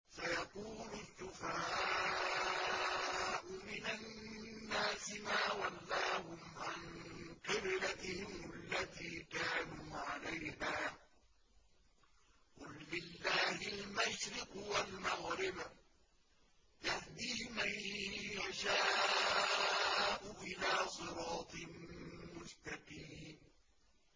۞ سَيَقُولُ السُّفَهَاءُ مِنَ النَّاسِ مَا وَلَّاهُمْ عَن قِبْلَتِهِمُ الَّتِي كَانُوا عَلَيْهَا ۚ قُل لِّلَّهِ الْمَشْرِقُ وَالْمَغْرِبُ ۚ يَهْدِي مَن يَشَاءُ إِلَىٰ صِرَاطٍ مُّسْتَقِيمٍ